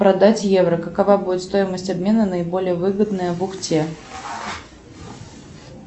продать евро какова будет стоимость обмена наиболее выгодная в ухте